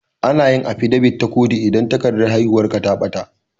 Anayin afidabit na kotu idan takardar haihuwar ka ta ɓata